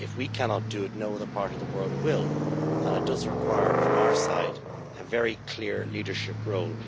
If we cannot do it no other part of the world will, and it does require from our side a very clear leadership role.